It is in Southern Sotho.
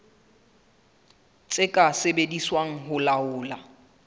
tse ka sebediswang ho laola